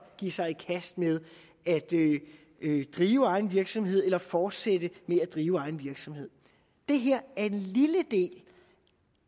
give sig i kast med at drive egen virksomhed eller fortsætte med at drive egen virksomhed det her er en lille del